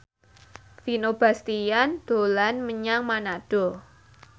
Vino Bastian dolan menyang Manado